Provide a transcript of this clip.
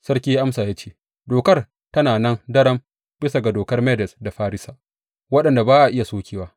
Sarki ya amsa ya ce, Dokar tana nan daram bisa ga dokar Medes da Farisa, waɗanda ba a iya sokewa.